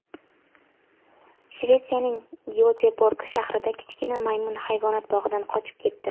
Shvetsiyaning Gyoteborg shahrida kichkina maymun hayvonot bog‘idan qochib ketdi.